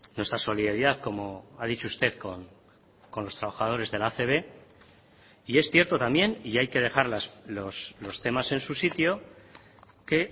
nuestra solidaridad como ha dicho usted con los trabajadores de la acb y es cierto también y hay que dejar los temas en su sitio que